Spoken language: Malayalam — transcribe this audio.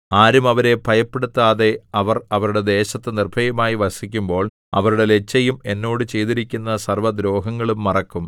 ആരും അവരെ ഭയപ്പെടുത്താതെ അവർ അവരുടെ ദേശത്ത് നിർഭയമായി വസിക്കുമ്പോൾ അവരുടെ ലജ്ജയും എന്നോട് ചെയ്തിരിക്കുന്ന സർവ്വദ്രോഹങ്ങളും മറക്കും